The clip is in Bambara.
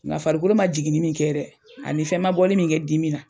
Nka farikolo ma jiginin min kɛ dɛ, ani fɛn ma bɔli min kɛ dimina.